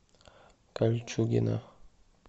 кольчугино